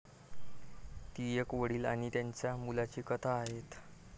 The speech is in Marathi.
ती एक वडील आणि त्यांच्या मुलाची कथा आहे.